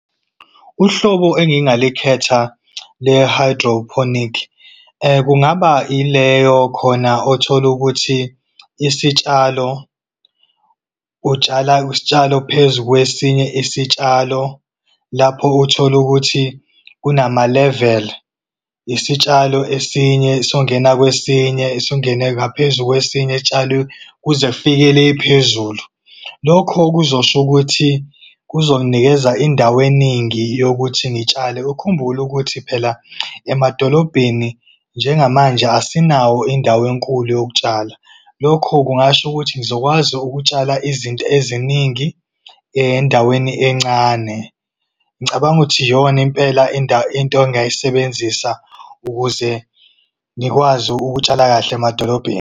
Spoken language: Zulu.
Uhlobo engingalikhetha le-hydroponic kungaba ileyo khona othola ukuthi isitshalo, utshala isitshalo phezu, kwesinye isitshalo. Lapho uthole ukuthi kunamaleveli, isitshalo, esinye songena kwesinye, singene ngaphezu kwesinye kuze kufike le phezulu. Lokho kuzosho ukuthi, kuzonginikeza indawo eningi yokuthi ngitshale. Ukhumbule ukuthi phela, emadolobheni njengamanje asinawo indawo enkulu yokutshala. Lokho kungasho ukuthi ngizokwazi ukutshala izinto eziningi endaweni encane. Ngicabanga ukuthi iyona impela into engingayisebenzisa, ukuze ngikwazi ukutshala kahle emadolobheni.